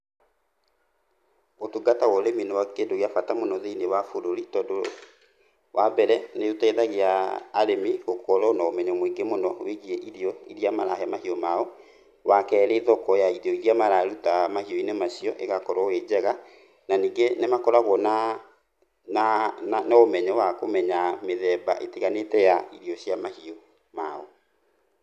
Ũtungata wa ũrĩmi nĩ kĩndũ gĩa bata mũno thĩinĩ wa bũrũri, tondũ wa mbere nĩ ũteithagia arĩmi gũkorwo na ũmenyo mũingi mũno wĩgii irio iria marahe mahiũ mao. Wa kerĩ thoko ya irio iria mararuta mahiu-inĩ macio ĩgakorwo ĩ njega. Na ningĩ nĩ makoragwo na ũmenyo wa kũmenya mĩthemba ĩtiganĩte ya irio cia mahiũ mao.